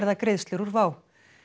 greiðslur úr WOW